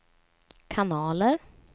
kanaler